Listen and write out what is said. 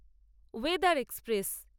Wodeyar express